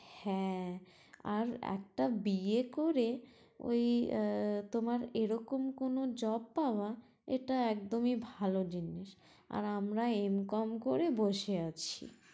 হ্যাঁ, আর একটা বিয়ে করে ওই আহ তোমার এরকম কোনো job পাওয়া এটা একদমই ভালো জিনিস, আর আমরা এম কম করে বসে আছি